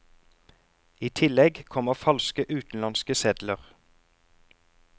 I tillegg kommer falske utenlandske sedler.